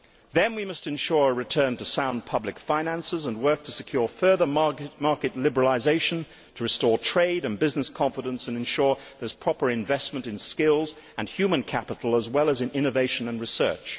Then we must ensure a return to sound public finances and work to secure further market liberalisation to restore trade and business confidence and ensure there is proper investment in skills and human capital, as well as in innovation and research.